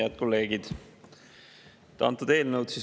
Head kolleegid!